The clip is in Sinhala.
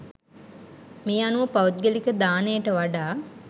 මේ අනුව පෞද්ගලික දානයට වඩා